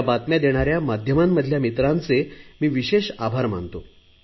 या बातम्या देणाऱ्या माध्यमांमधल्या मित्रांचे मी विशेष आभार मानतो